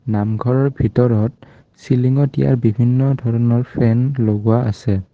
নামঘৰৰ ভিতৰত চিলিংত দিয়া বিভিন্ন ধৰণৰ ফেন লগোৱা আছে।